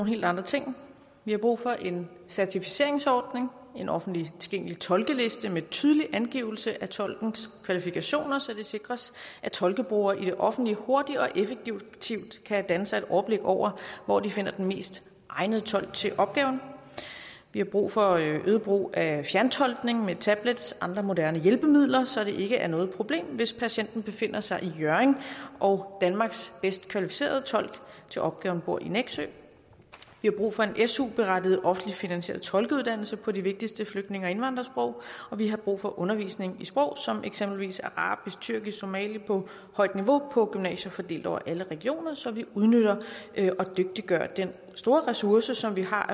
helt andre ting vi har brug for en certificeringsordning en offentligt tilgængelig tolkeliste med tydelig angivelse af tolkens kvalifikationer så det sikres at tolkebrugere i det offentlige hurtigt og effektivt kan danne sig et overblik over hvor de finder den mest egnede tolk til opgaven vi har brug for øget brug af fjerntolkning med tablets og andre moderne hjælpemidler så det ikke er noget problem hvis patienten befinder sig i hjørring og danmarks bedst kvalificerede tolk til opgaven bor i nexø vi har brug for en su berettiget offentligt finansieret tolkeuddannelse på de vigtigste flygtninge og indvandrersprog og vi har brug for undervisning i sprog som eksempelvis arabisk tyrkisk og somali på højt niveau på gymnasier fordelt over alle regioner så vi udnytter og dygtiggør den store ressource som vi har